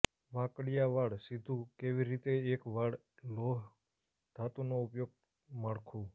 વાંકડીયા વાળ સીધું કેવી રીતે એક વાળ લોહ ધાતુનો ઉપયોગ માળખું